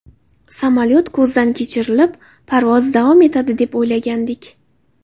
Samolyot ko‘zdan kechirilib, parvoz davom etadi deb o‘ylagandik.